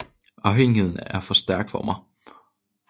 Afhængigheden er for stærk for mig